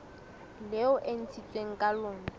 leo e ntshitsweng ka lona